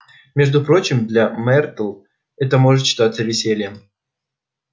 между прочим для мэртл это может считаться весельем